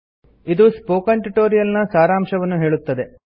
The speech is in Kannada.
ಇದು ಸ್ಪೋಕನ್ ಟ್ಯುಟೊರಿಯಲ್ ನ ಸಾರಾಂಶವನ್ನು ಹೇಳುತ್ತದೆ